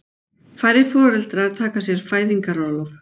Færri foreldrar taka sér fæðingarorlof